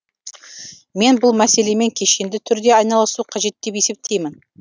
мен бұл мәселемен кешенді түрде айналысу қажет деп есептеймін